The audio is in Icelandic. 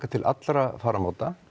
til allra fararmáta